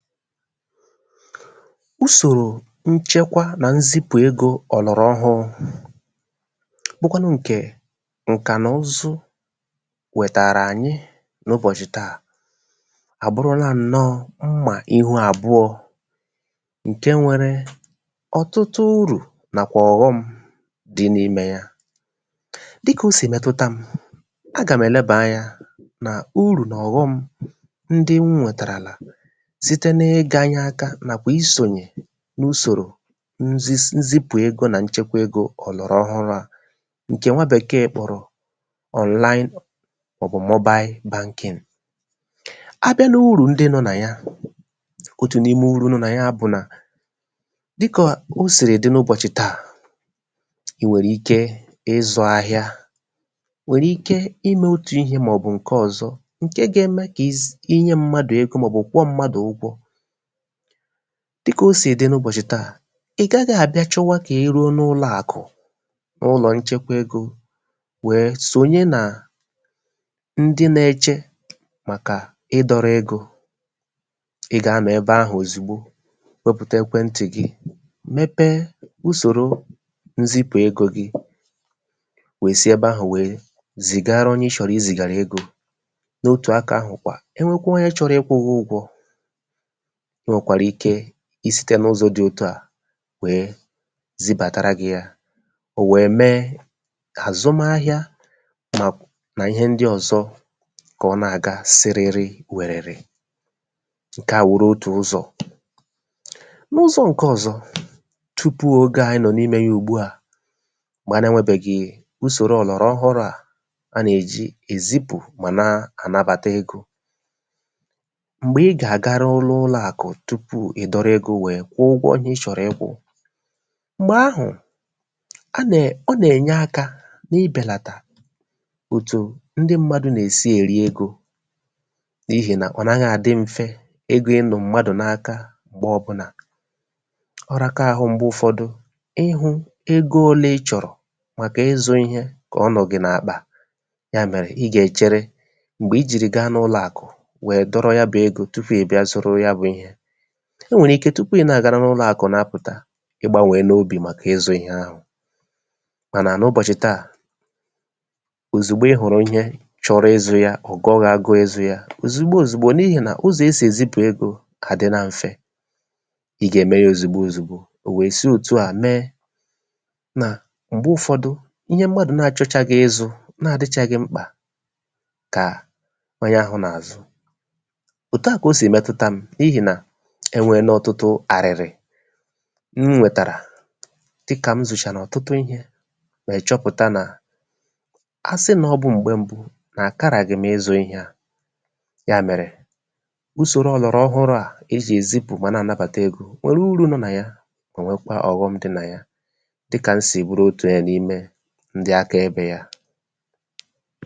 usòrò nchẹkwa nà nzipụ̀ egō ọ̀nọ̀rọ̀ ọhụrụ̄, bụkwanụ ǹkẹ̀ ǹkànụzụ wẹ̀tàrà ànyị n’ụbọ̀chị tà, àbụrụla ǹnọ mmà ihu àbụọ̄, ǹke nwẹrẹ ọ̀tụtụ urù, nàkwà ọ̀ghọm dị n’imē ya. dị kà o sì mẹtụta m, a gà m ẹ̀lẹbà anyā nà urù nà ọ̀ghọm ndị m nwẹ̀tàràlà, site na ịganye aka, màọ bụ isònyè n’usòrò nzisa nzipù egō nà nchekwa egō ọ̀nà ọhụrụ̄ à, ǹkè nwa Bèkèè kpòrọ̀ Online Automobile Banking. a bịa n’urù ndị nọ nà ya, otù n’ime urū nọ nà ya bụ̀ dị kà o sìrì dị n’ụbọ̀chị ǹkè tà, e nwèrè ike ị zụ̄ ahịa, nwèrè ike I mẹ̄ otù ihē mà ọ̀ bụ̀ ǹkẹ ọ̀zọ, ǹkẹ ga ẹmẹ kà ị̀ zị ị nyẹ mmadù egō, mà ọ̀ bụ kwụọ mmadù ụgwọ̄. dị kà o sì dị n’ụbọ̀chị̀ tà, ị̀ gaghị à bịa chọwa kà ịrụọ n’ụlọ̄ àkụ̀, n’ụlọ̀ nchekwa egō wẹ̀ sònye nà ndị na eche màkà ị dọrọ̄ egō. ị gà anọ̀ ẹbẹ ahụ̀ òzìgbo, wẹpụ̀ta ẹkwẹ ntị̀ gị, mẹpẹ ụsòro nzipù egō gị, we si ẹbẹ ahụ̀ we zìgara onye ị chọ̀rọ ị zìgàrà ozi. n’otù akā ahụ̀ kwà, ẹ nwẹ onye chọrọ ịkwụ̄ gị ụgwọ̄, o nwèkwàrà ike I site n’ụzọ dị etu à wẹ zịbàtara gị ya,ọ̀ wẹ mẹ kà àzụmahịa nà ihe ndị ọzọ, kà ọ nà àga sịrịrịwẹ̀rẹ̀rẹ̀. ǹkẹ̀ à wụrụ otù ụzọ̀. n’ụzọ̀ ǹkẹ ọ̀zọ, tupù ogè anyị nọ̀ n’imē ya ùgbu à, mgbẹ a nà ẹnwẹbẹghị usòro ọ̀gbàrà ọhụrụ a nà èji èzịpụ̀, mà na anabàta egō, m̀gbẹ̀ ị gà à ga n’ụlọ̄ àkụ, tupu ị dọrọ egō wẹ kwụ ụgwọ ị chọ̀rọ̀ ị kwụ̄, m̀gbè ahụ, a nà ọ nà ẹ̀nyẹ akā ị bẹ̀làtà òtù ndị mmadū nà èsi èri egō, n’ihì nà ọ naghị à dị mfẹ egō ị nọ̀ mmadù n’aka m̀gbẹ ọbụnà. ọ raka ahụ m̀gbẹ ụfọdụ, ị hụ̄ ego ole ị chọ̀rọ̀, màkà ịzụ̄ ịhẹ kà ọ nọ̀ gị n’àkpa. yà mẹ̀rẹ ị gà ẹ̀chẹrẹ, m̀gbè ị jì wẹ ga n’ụlọ̄ àkụ̀ dọrọ ya bụ egō, tupù ị̀ bịa zụrụ ya bụ̄ ịhẹ, e nwèrè ike, tupù ị̀ nà àga n’ụlọ̄ àkụ na apụ̀ta, ị gbānwẹla obì màkà ịzụ̄ ịhẹ ahụ̀, mànà n’ụbọ̀chị̀ tà, òzìgbo ị hụ̀rụ̀ ịhẹ, chọrọ ịzụ̄ ya, ọ̀ gụọ gị agụ ịzụ̄ ya, òzìgbo òzìgbo, n’ihì nà ụzọ̀ e sì èzịpụ̀ ihē àdịla mfe. ị gà ème ya òzìgbo òzìgbo, ò we si òtu à mẹ nà m̀gbẹ ụfọdụ, ịhẹ mmadù na achọchaghị ịzụ̄, na adịchaghị mkpà kà onye ahụ̄ nà àzụ. òtù a kà o sì ẹ̀mẹtụta m, n’ihì nà ẹ wẹ̀ẹnẹ ọtụtụ àrị̀rị̀ m nwètàrà, dị kà m zụ̀chàrà ọ̀tụtụ ịhẹ wẹ̀ẹ chọpụ̀ta nà, asị nà ọ bụ̄ m̀gbẹ mbụ, nà àkaràdị m ịzụ̄ ihẹ à. yà mẹ̀rẹ̀, usòro ọ̀nọ̀rọ̀ ọhụrụ̄ à e jì èzipù wẹ nà ànabàta egō nwẹ̀rẹ̀ ụrụ̄ nọ nà ya, mà nwẹkwa ọ̀ghọm dịkwa nà ya, dị kà m sì bụrụ otù n’’ime ndị aka ẹbẹ̄ ya.